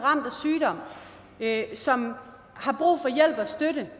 ramt af som har brug for hjælp og støtte